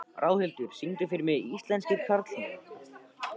Ráðhildur, syngdu fyrir mig „Íslenskir karlmenn“.